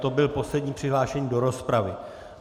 To byl poslední přihlášený do rozpravy.